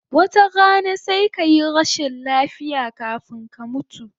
Wata rana sai kayi rashin lafiya kafun ka mutu